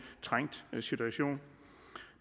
trængt situation